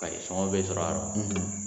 be sɔrɔ a